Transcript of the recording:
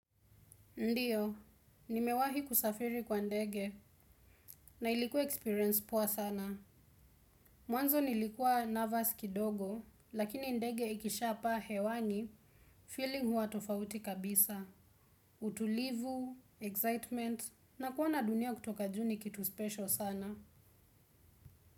Ndiyo, nimewahi kusafiri kwa ndege, na ilikuwa experience poa sana. Mwanzo nilikuwa nervous kidogo, lakini ndege ikisha pa hewani, feeling huwa tofauti kabisa. Utulivu, excitement, na kuona dunia kutoka juu ni kitu special sana.